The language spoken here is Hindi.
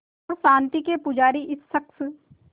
और शांति के पुजारी इस शख़्स